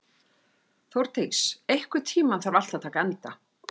Þórdís, einhvern tímann þarf allt að taka enda.